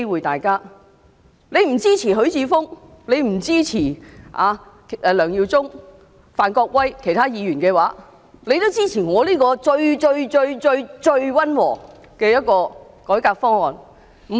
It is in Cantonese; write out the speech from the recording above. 即使不支持許智峯議員、梁耀忠議員、范國威議員和其他議員的修正案，也該支持由我提出的這個最溫和的改革方案。